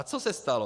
A co se stalo?